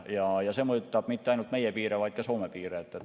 See ei mõjuta mitte ainult meie piire, vaid ka Soome piire.